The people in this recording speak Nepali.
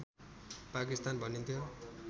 पाकिस्तान भनिन्थ्यो